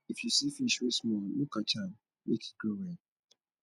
if you see fish wey small no catch am make e grow well